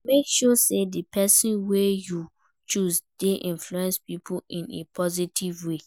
make sure say di persin wey you choose de influence pipo in a positive way